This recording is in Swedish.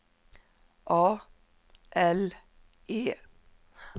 A L E